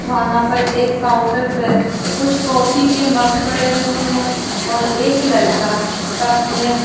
वहां पर एक काउंटर पे कुछ कॉफी के मग पड़े हुए हैं और एक लड़का कप में--